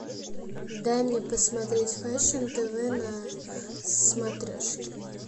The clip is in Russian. дай мне посмотреть фэшн тв на смотрешке